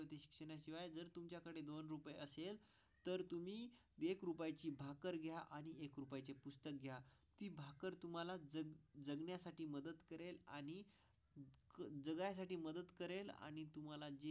तर तुम्ही ची भाकरी घ्या आणि चे पुस्तक घ्या ते. भाकर तुम्हाला जर जगण्यासाठी मदत करेल आणि. जगण्यासाठी मदत करेल आणि तुम्हाला जी असेल तर तुम्ही.